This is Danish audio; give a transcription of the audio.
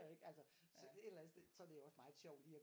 Ikke altså så et eller andet sted så er det måske også meget sjovt lige at